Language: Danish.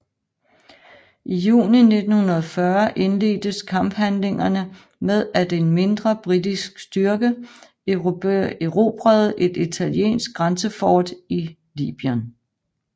I juni 1940 indledtes kamphandlingerne med at en mindre britisk styrke erobrede et italiensk grænsefort i Libyen